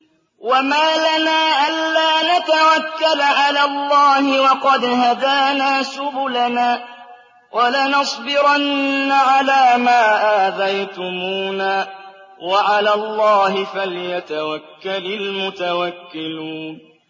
وَمَا لَنَا أَلَّا نَتَوَكَّلَ عَلَى اللَّهِ وَقَدْ هَدَانَا سُبُلَنَا ۚ وَلَنَصْبِرَنَّ عَلَىٰ مَا آذَيْتُمُونَا ۚ وَعَلَى اللَّهِ فَلْيَتَوَكَّلِ الْمُتَوَكِّلُونَ